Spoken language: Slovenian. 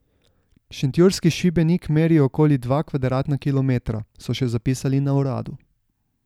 Šentjurski Šibenik meri okoli dva kvadratna kilometra, so še zapisali na uradu.